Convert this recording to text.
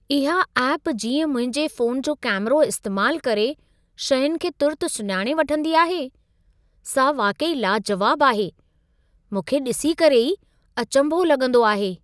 इहा ऐपु जीअं मुंहिंजे फ़ोनु जो कैमिरो इस्तेमालु करे शयुनि खे तुरत सुञाणे वठंदी आहे , सा वाक़ई लाजवाबु आहे. मूंखे डि॒सी करे ई अचंभो लॻंदो आहे।